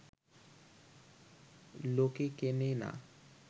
লোকে কেনে না